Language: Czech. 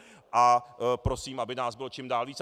A prosím, aby nás bylo čím dál víc.